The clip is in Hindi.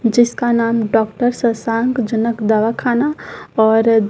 जिसका नाम डॉक्टर सशांक जनक दवाखाना और--